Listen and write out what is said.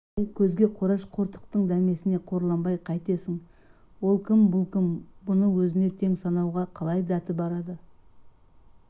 осындай көзге қораш қортықтың дәмесіне қорланбай қайтесің ол кім бұл кім бұны өзіне тең санауға қалай дәті барады